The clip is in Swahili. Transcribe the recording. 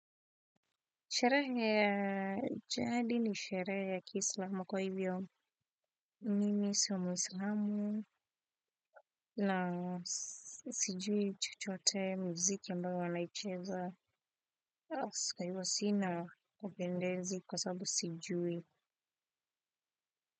Sherehe ya jadi ni sherehe ya kislamu kwa hivyo mimi sio mwislamu na sijui chochote miziki ambayo wanaicheza. Aska yuwa sina wapendezi kwa sababu sijui.